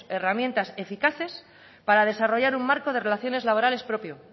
herramientas eficaces para desarrollar un marco de relaciones laborales propio